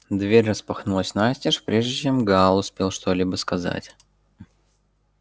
дверь распахнулась настежь прежде чем гаал успел что-либо сказать